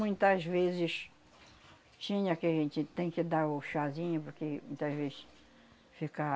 Muitas vezes tinha que a gente tem que dar o chazinho, porque muitas vezes